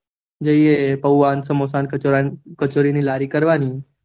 સમોસા, પુવા, કચોરીની લારી કરવાની